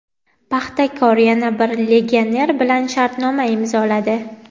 "Paxtakor" yana bir legioner bilan shartnoma imzoladi.